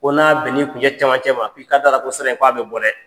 Ko n'a bɛnn'i kuncɛ cɛmancɛ ma i ka d'a la ko sira in ko a bɛ bɔ dɛ.